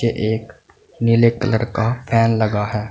ये एक नीले कलर का फैन लगा है।